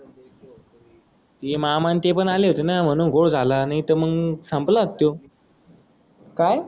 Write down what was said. ते मामा न ते पण आले होते ना मानून घोड झाला नाहीत मंग संपला त्यो काय